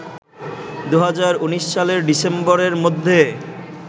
২০১৯ সালের ডিসেম্বরের মধ্যে